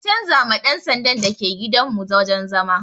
An canza ma ɗan sandan da ke gidan mu wajen zama